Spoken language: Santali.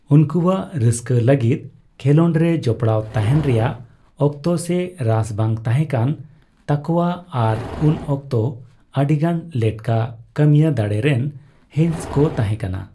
ᱩᱱᱠᱩᱣᱟᱜ ᱨᱟᱹᱥᱠᱟᱹ ᱞᱟᱹᱜᱤᱫ ᱠᱷᱮᱞᱚᱸᱰᱨᱮ ᱡᱚᱯᱲᱟᱣ ᱛᱟᱦᱮᱱ ᱨᱮᱭᱟᱜ ᱚᱠᱛᱚ ᱥᱮ ᱨᱟᱹᱥ ᱵᱟᱝ ᱛᱟᱦᱮᱸᱠᱟᱱ ᱛᱟᱠᱚᱣᱼᱟ ᱟᱨ ᱩᱱ ᱚᱠᱛᱚ, ᱟᱹᱰᱤᱜᱟᱱ ᱞᱮᱴᱠᱟ ᱠᱟᱹᱢᱤᱭᱟᱹᱫᱟᱲᱮ ᱨᱮᱱ ᱦᱤᱸᱥ ᱠᱚ ᱛᱟᱦᱮᱸᱠᱟᱱᱟ ᱾